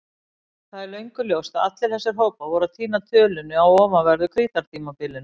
Það er löngu ljóst að allir þessir hópar voru að týna tölunni á ofanverðu Krítartímabilinu.